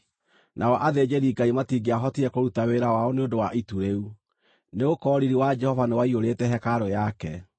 Nao athĩnjĩri-Ngai matingĩahotire kũruta wĩra wao nĩ ũndũ wa itu rĩu, nĩgũkorwo riiri wa Jehova nĩwaiyũrĩte hekarũ yake.